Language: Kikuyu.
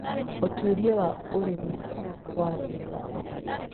Ũtuĩria wa Ũrĩmi wa Thĩ Yothe